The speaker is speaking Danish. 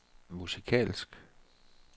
musikalsk